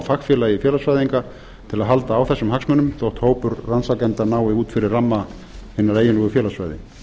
á fagfélag félagsfræðinga til að halda á þessum hagsmunum þó hópur rannsakenda nái út fyrir ramma á hinu eiginlega félagsfræði